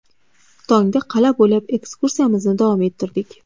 Tongda qal’a bo‘ylab ekskursiyamizni davom ettirdik.